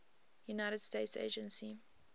united states agency